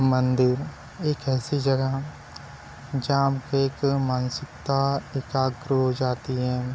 मंदिर एक ऐसी जगह हैं जहाँ पर मानसिकता एकाग्र हो जाती हैं।